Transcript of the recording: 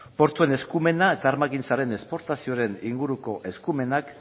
portuen eskumena eta armagintzaren esportazioaren inguruko eskumenak